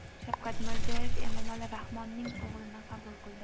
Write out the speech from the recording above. Shavkat Mirziyoyev Emomali Rahmonning o‘g‘lini qabul qildi.